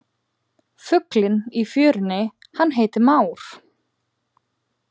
Fuglinn í fjörunni hann heitir már.